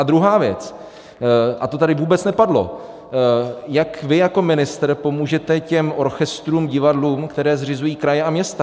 A druhá věc, a to tady vůbec nepadlo, jak vy jako ministr pomůžete těm orchestrům, divadlům, které zřizují kraje a města.